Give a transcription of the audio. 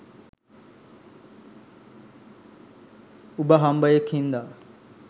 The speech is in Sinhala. උබ හම්බයෙක් හින්දා